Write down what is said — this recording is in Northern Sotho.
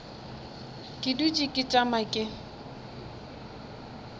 ke dutše ke tšama ke